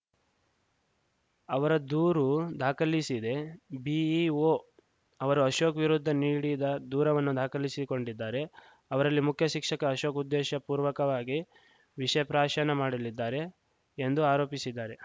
ಅವರ ದೂರು ದಾಖಲಿಶಿದೆ ಬಿಇಒ ಅವರು ಅಶೋಕ್‌ ವಿರುದ್ಧ ನೀಡಿದ ದೂರವನ್ನು ದಾಖಲಿಸಿ ಕೊಂಡಿದ್ದಾರೆ ಅವರಲ್ಲಿ ಮುಖ್ಯ ಶಿಕ್ಷಕ ಅಶೋಕ್‌ ಉದ್ದೇಶಪೂರ್ವಕವಾಗಿ ವಿಷಪ್ರಾಶನ ಮಾಡಲಿದ್ದಾರೆ ಎಂದು ಆರೋಪಿಶಿದ್ದಾರೆ